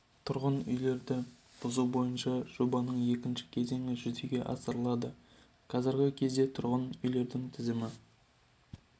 тұрғын үйлерді бұзу бойынша жобаның екінші кезеңі жүзеге асырылады қазіргі кезде тұрғын үйлердің тізімі